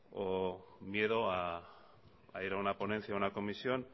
o miedo a ir a una ponencia a una comisión